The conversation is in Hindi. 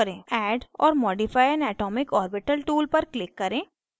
add or modify an atomic orbital tool पर click करें